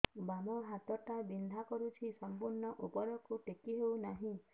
ବାମ ହାତ ଟା ବିନ୍ଧା କରୁଛି ସମ୍ପୂର୍ଣ ଉପରକୁ ଟେକି ହୋଉନାହିଁ